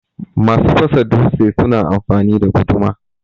Masu fasa dutse suna amfani da guduma.